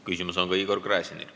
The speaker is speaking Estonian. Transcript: Küsimus on ka Igor Gräzinil.